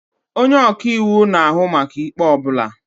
Onye ọka iwu na-ahụ maka ikpe ọ bụla.